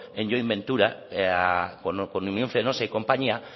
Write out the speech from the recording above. en join venture con unión fenosa y compañía